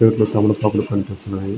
Plate లో తమలపాకులు కనిపిస్తున్నాయి.